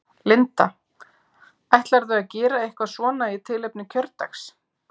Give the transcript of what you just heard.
Linda: Ætlarðu að gera eitthvað svona í tilefni kjördags?